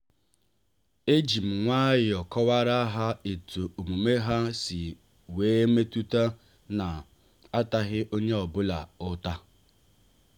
ejim nwayọọ kọwara ha etu omume ha si wee metutam na ataghi onye ọ bụla uta.